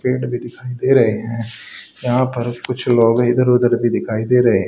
पेड़ भी दिखाई दे रहे हैं यहां पर कुछ लोग इधर उधर भी दिखाई दे रहे है।